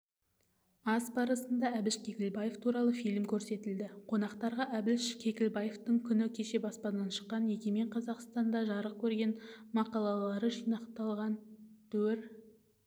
ас барысында әбіш кекілбаев туралы фильм көрсетілді қонақтарға біш кекілбаевтың күні кеше баспадан шыққан егемен қазақстанда жарық көрген мақалалары жинақталған дуір